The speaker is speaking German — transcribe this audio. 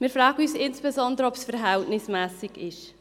Wir fragen uns insbesondere, ob es verhältnismässig ist.